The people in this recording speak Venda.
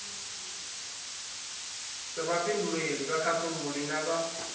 sa vhafhinduleli vhakhakhululi na vhad